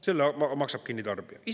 Selle maksab kinni tarbija!